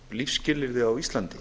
lífsskilyrði á íslandi